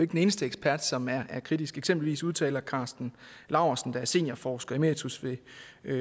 den eneste ekspert som er kritisk eksempelvis udtaler karsten laursen der er seniorforsker emeritus ved